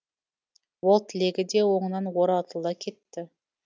ол тілегі де оңынан оратыла кетті